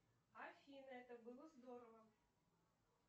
афина это было здорово